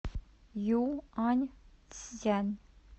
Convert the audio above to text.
юаньцзян